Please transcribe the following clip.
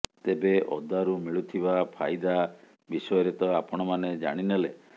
ତେବେ ଅଦାରୁ ମିଳୁଥିବା ଫାଇଦା ବିଷୟରେ ତ ଆପଣମାନେ ଜାଣିନେଲେ